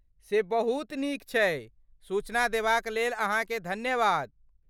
से बहुत नीक छै, सूचना देबाक लेल अहाँकेँ धन्यवाद।